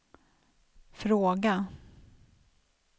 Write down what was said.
fråga